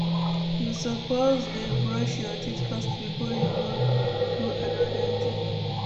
You suppose dey brush your teeth first before you go do anoda thing.